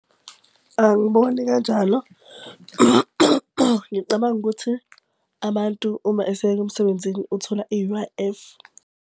Angiboni kanjalo. Ngicabanga ukuthi abantu uma eseyeka emsebenzini uthola i-U_I_F.